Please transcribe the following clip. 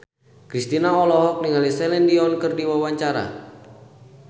Kristina olohok ningali Celine Dion keur diwawancara